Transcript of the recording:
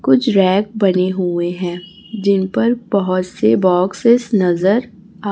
कुछ ऱैक बने हुए हैं जिन पर बहोत से बॉक्सेस नजर आ--